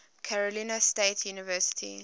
carolina state university